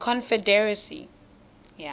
confederacy